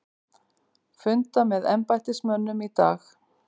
Funda með embættismönnum í dag